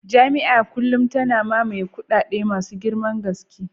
Jami'a a kullum tana mamaye kadada masu girman gaske